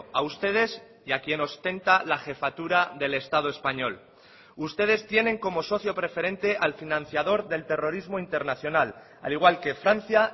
a ustedes y a quien ostenta la jefatura del estado español ustedes tienen como socio preferente al financiador del terrorismo internacional al igual que francia